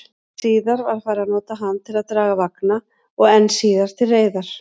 Síðar var farið að nota hann til að draga vagna, og enn síðar til reiðar.